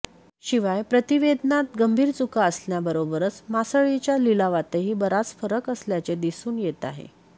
शिवाय प्रतिवेदनात गंभीर चुका असण्याबरोबरच मासळीच्या लिलावातही बराच फरक असल्याचे दिसून येत आहे